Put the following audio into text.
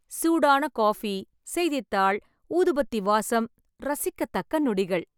சூடான காபி, செய்தித்தாள், ஊதுபத்தி வாசம் ரசிக்கத்தக்க நொடிகள்.